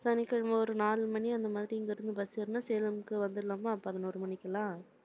சனிக்கிழமை ஒரு நாலு மணி, அந்த மாதிரி இங்கிருந்து bus ஏறினா சேலம்க்கு வந்திடலாமா பதினோரு மணிக்கெல்லாம்